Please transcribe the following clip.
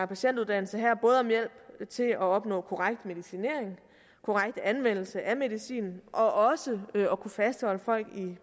patientuddannelse her både om hjælp til at opnå korrekt medicinering korrekt anvendelse af medicin og også at kunne fastholde folk i